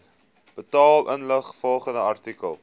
betaal ingevolge artikel